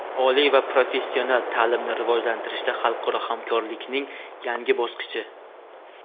Oliy va professional taʼlimni rivojlantirishda xalqaro hamkorlikning yangi bosqichi.